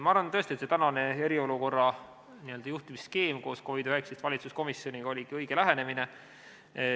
Ma arvan tõesti, et tänane eriolukorra n-ö juhtimise skeem koos COVID-19 valitsuskomisjoniga oligi õige lähenemine.